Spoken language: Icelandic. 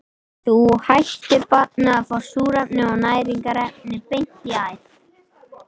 Þá hættir barnið að fá súrefni og næringarefni beint í æð.